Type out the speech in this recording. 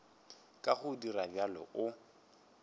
ka go dira bjalo o